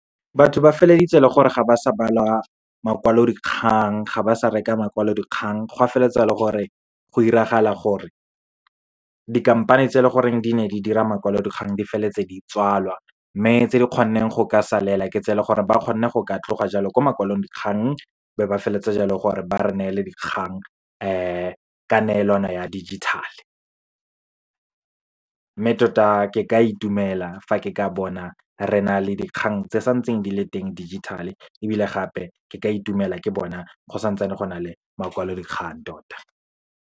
Batho ba feleleditse e le gore, ga ba sa bala makwalodikgang, ga ba sa reka makwalodikgang. Gwa feletse e le gore, go iragala gore, dikhamphane tse e leng gore di ne di dira makwalodikgang di feleletse di tswalwa. Mme tse di ka kgonang go ka salela ke tse leng gore, ba kgonne go ka tloga jalo ko makwalodikgang be ba feleletse jalo gore ba re nele dikgang ka neelano ya digital-e. Mme tota ke ka itumela fa ke ka bona re na le dikgang tse santseng di le teng tsa dijithale, ebile gape, ke ka itumela ke bona go santse go na le makwalodikgang tota.